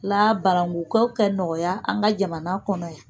La barankukaw ka nɔgɔya an ka jamana kɔnɔ yan